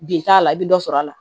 Bi t'a la i bɛ dɔ sɔrɔ a la